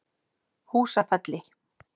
Húsafelli